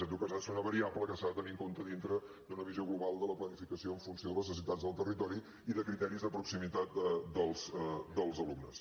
en tot cas ha de ser una variable que s’ha de tenir en compte dintre d’una visió global de la planificació en funció de les necessitats del territori i de criteris de proximitat dels alumnes